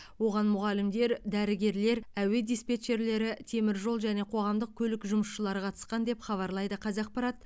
оған мұғалімдер дәрігерлер әуе диспетчерлері теміржол және қоғамдық көлік жұмысшылары қатысқан деп хабарлайды қазақпарат